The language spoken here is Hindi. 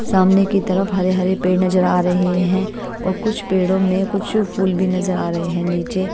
सामने की तरफ हरे हरे पेड़ नजर आ रहे हैं और कुछ पेड़ों में कुछ फूल भी नजर आ रहे है नीचे--